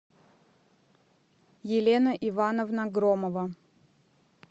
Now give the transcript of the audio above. елена ивановна громова